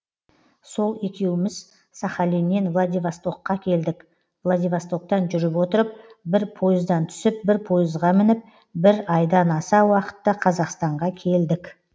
сол екеуміз сахалиннен владивастокқа келдік владивостоктан жүріп отырып бір пойыздан түсіп бір пойызға мініп бір айдан аса уақытта қазақстанға келдік